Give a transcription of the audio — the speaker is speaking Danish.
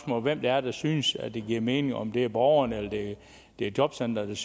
bare hvem det er der synes at det giver mening altså om det er borgeren eller det er jobcenteret